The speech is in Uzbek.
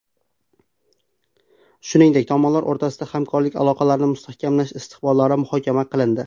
Shuningdek tomonlar o‘rtasida hamkorlik aloqalarini mustahkamlash istiqbollari muhokama qilindi.